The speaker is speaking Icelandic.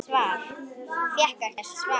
Hún fékk ekkert svar.